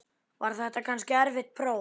Var þetta kannski erfitt próf?